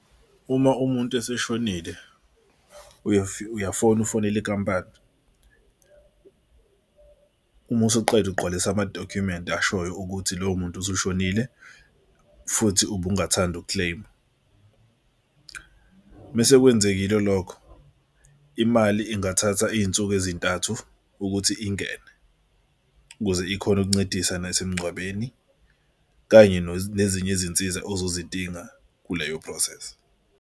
Uma umuntu eseshonile uyafona ufonele inkampani uma usuqeda ugqwalisa amadokhumenti ashoyo ukuthi loyo muntu usushonile futhi ubungathandi uku-claim-a. Mesekwenzekile lokho imali ingathatha iy'nsuku ezintathu ukuthi ingene ukuze ikhone ukuncedisa nasemgcwabeni kanye nezinye izinsiza ozozidinga kuleyo process.